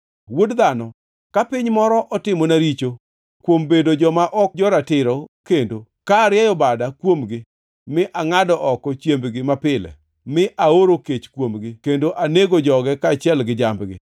Wuod dhano, ka piny moro otimona richo kuom bedo joma ok jo-ratiro kendo; ka arieyo bada kuomgi mi angʼado oko chiembgi mapile, mi aoro kech kuomgi kendo anego joge kaachiel gi jambgi,